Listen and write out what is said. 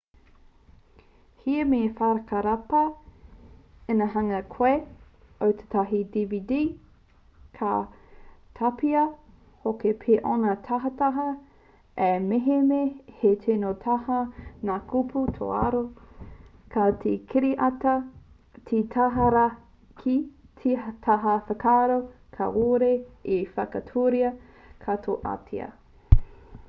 he mea whakarapa ina hanga koe i tētahi dvd ka tapahia hoki pea ōna tahataha ā mehemea he tino tata ngā kupu tōraro tā te kiriata he tata rawa ki te taha whakararo kāore e whakaaturia katoatia